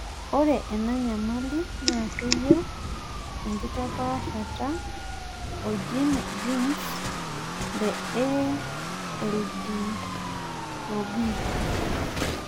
ore ena nyamali naa keyau enkitapaashata o genes le ALDOB.